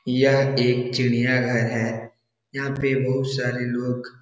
यह एक चिड़ियाघर है। यहाँ पे बहोत सारे लोग --